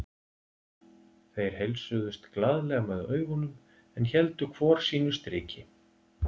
Þeir heilsuðust glaðlega með augunum en héldu hvor sínu striki.